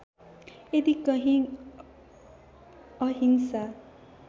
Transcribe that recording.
यदि कहीँ अहिंसा